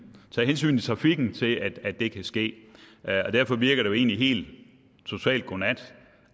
i trafikken til at det kan ske derfor virker det helt totalt godnat